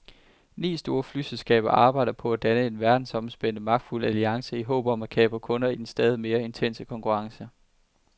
Ni store flyselskaber arbejder på at danne en verdensomspændende, magtfuld alliance i håb om at kapre kunder i den stadig mere intense konkurrence.